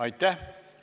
Aitäh!